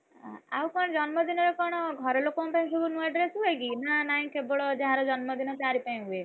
ଆଉ କଣ ଜନ୍ମଦିନରେ କଣ ଘରଲୋକଙ୍କ ପାଇଁ ସବୁ ନୂଆ dress ହୁଏ କି? ନା ନାଇଁ କେବଳ, ଯାହା ଜନ୍ମଦିନ ତା'ରି ପାଇଁ ହୁଏ?